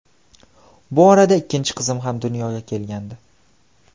Bu orada ikkinchi qizim ham dunyoga kelgandi.